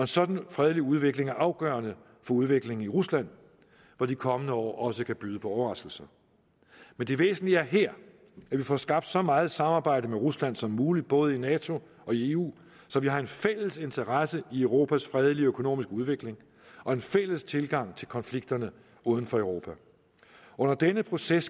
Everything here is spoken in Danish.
sådan fredelig udvikling er afgørende for udviklingen i rusland hvor de kommende år også kan byde på overraskelser men det væsentlige er her at vi får skabt så meget samarbejde med rusland som muligt både i nato og i eu så vi har en fælles interesse i europas fredelige økonomiske udvikling og en fælles tilgang til konflikterne uden for europa under denne proces